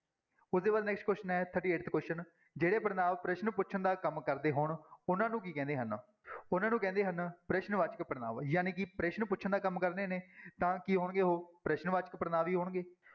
ਉਸਦੇ ਬਾਅਦ next question ਹੈ thirty-eighth question ਜਿਹੜੇ ਪੜ੍ਹਨਾਂਵ ਪ੍ਰਸ਼ਨ ਪੁੱਛਣ ਦਾ ਕੰਮ ਕਰਦੇ ਹੋਣ, ਉਹਨਾਂ ਨੂੰ ਕੀ ਕਹਿੰਦੇ ਹਨ ਉਹਨਾਂ ਨੂੰ ਕਹਿੰਦੇ ਹਨ, ਪ੍ਰਸ਼ਨ ਵਾਚਕ ਪੜ੍ਹਨਾਂਵ ਜਾਣੀ ਕਿ ਪ੍ਰਸ਼ਨ ਪੁੱਛਣ ਦਾ ਕੰਮ ਕਰਦੇ ਨੇ ਤਾਂ ਕੀ ਹੋਣਗੇ ਉਹ ਪ੍ਰਸ਼ਨ ਵਾਚਕ ਪੜ੍ਹਨਾਂਵ ਹੀ ਹੋਣਗੇ।